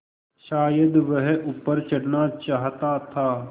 शायद वह ऊपर चढ़ना चाहता था